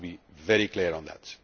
I want to be very clear on that.